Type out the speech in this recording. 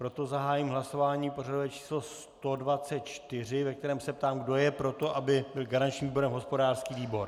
Proto zahájím hlasování pořadové číslo 124, ve kterém se ptám, kdo je pro to, aby byl garančním výborem hospodářský výbor.